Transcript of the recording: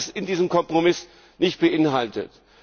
All das ist in diesem Kompromiss nicht enthalten.